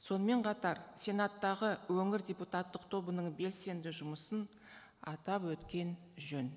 сонымен қатар сенаттағы өңір депутаттық тобының белсенді жұмысын атап өткен жөн